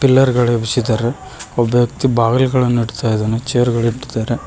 pillar ಗಳ್ ಎಬ್ಸಿದಾರೆ ಒಬ್ಬ ವ್ಯಕ್ತಿ ಬಾಗಿಲುಗಳನ್ನು ಇಡ್ತಾ ಇದಾನೆ ಚೇರ್ ಗಳ್ ಇಡ್ತಾರೆ